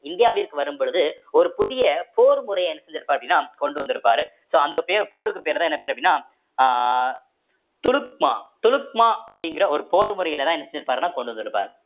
இந்தியாவிற்கு வரும் பொழுது ஒரு புதிய போர் முறைய என்ன செஞ்சிருப்பார் அப்படின்னா கொண்டு வந்திருப்பாரு so அந்த பேர் போருக்கு பேருதான் என்ன பேரு அப்படின்னா அஹ் துருக்மா துலுக்மா அப்படிங்கற ஒரு போர் முறையிலதான் என்ன செஞ்சிருப்பாருன்னா கொண்டு வந்திருப்பார்